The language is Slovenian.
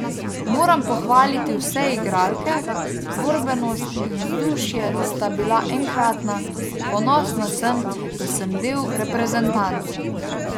Moram pohvaliti vse igralke, borbenost in vzdušje sta bila enkratna, ponosna sem, da sem del reprezentance.